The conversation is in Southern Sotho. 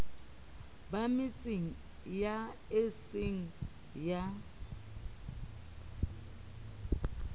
ba metseng eo eseng ya